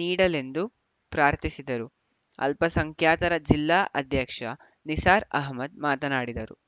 ನೀಡಲೆಂದು ಪ್ರಾರ್ಥಿಸಿದರು ಅಲ್ಪಸಂಖ್ಯಾತರ ಜಿಲ್ಲಾ ಅಧ್ಯಕ್ಷ ನಿಸಾರ್‌ ಆಹಮ್ಮದ್‌ ಮಾತನಾಡಿದರು